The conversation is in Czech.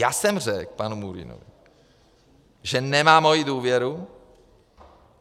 Já jsem řekl panu Murínovi, že nemá moji důvěru.